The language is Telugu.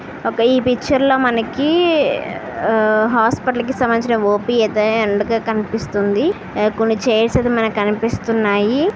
ఈ పిక్చర్ లో మనకి హాస్పిటల్ కి సంబంధించింది ఓ_పి ఐతే ఎండు గా కనిపిస్తుంది కొన్ని చైర్స్ అయితే మనకు కనిపిస్తున్నాయి.